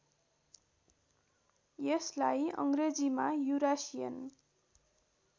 यसलाई अङ्ग्रेजीमा युरासिएन